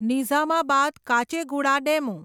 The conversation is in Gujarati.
નિઝામાબાદ કાચેગુડા ડેમુ